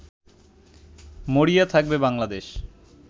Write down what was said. মরিয়া থাকবে বাংলাদেশ